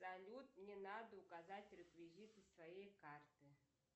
салют мне надо указать реквизиты своей карты